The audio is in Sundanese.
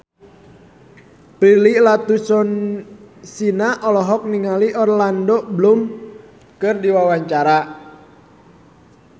Prilly Latuconsina olohok ningali Orlando Bloom keur diwawancara